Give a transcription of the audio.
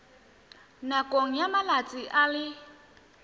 nakong ya malatsi a le